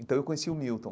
Então, eu conheci o Milton.